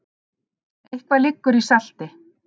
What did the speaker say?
Eitthvað liggur í salti